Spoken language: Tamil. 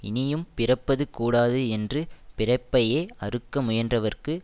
இனியும் பிறப்பது கூடாது என்று பிறப்பையே அறுக்க முயன்றவர்க்கு